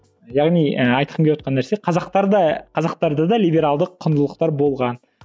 яғни ы айтқым келівотқан нәрсе қазақтарда қазақтарда да либералды құндылықтар болған